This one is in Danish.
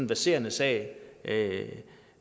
verserende sag